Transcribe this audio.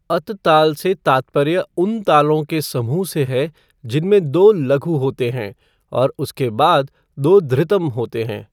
अत ताल से तात्पर्य उन तालों के समूह से है जिनमें दो लघु होते हैं और उसके बाद दो धृतम होते हैं।